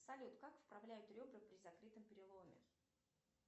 салют как вправляют ребра при закрытом переломе